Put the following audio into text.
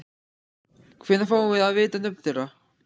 Hvenær fáum við að vita nöfn þeirra?